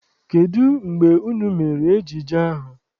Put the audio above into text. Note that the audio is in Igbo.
Kedụ mgbe unu mere ejije ahụ?